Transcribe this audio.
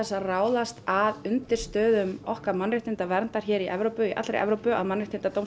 að ráðast að undirstöðum okkar mannréttindaverndar í Evrópu í allri Evrópu að Mannréttindadómstól